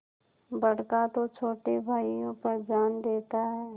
बड़का तो छोटे भाइयों पर जान देता हैं